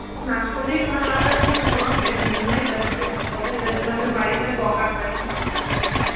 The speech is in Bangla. না শরীর ভালো রাখার জন্যে আমি কোনো step নি না এটা হচ্ছে ঠিক কথা. এটার জন্যে আমি বাড়িতে বোকা খাই.